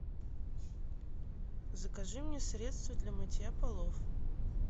закажи мне средство для мытья полов